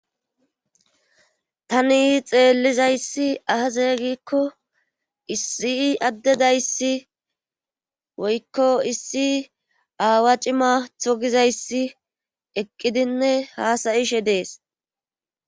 tani xeellizayssi ahazeeygikko issi addedayssi woykko issi aawa cimatho gizayssi eqqidinne haasayishe dees